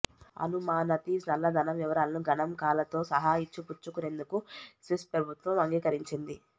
అను మానతి నల్లధనం వివరాలను గణాంకాలతో సహా ఇచ్చిపుచ్చుకు నేందుకు స్విస్ప్రభుత్వం అంగీకరించింది